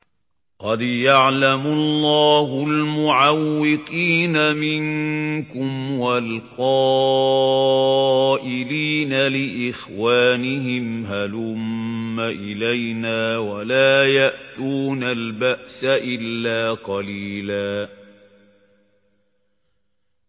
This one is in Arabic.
۞ قَدْ يَعْلَمُ اللَّهُ الْمُعَوِّقِينَ مِنكُمْ وَالْقَائِلِينَ لِإِخْوَانِهِمْ هَلُمَّ إِلَيْنَا ۖ وَلَا يَأْتُونَ الْبَأْسَ إِلَّا قَلِيلًا